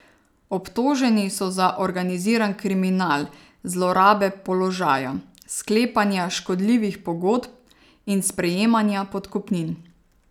Obtoženi so za organiziran kriminal, zlorabe položaja, sklepanja škodljivih pogodb in sprejemanja podkupnin.